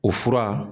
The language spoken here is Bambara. O fura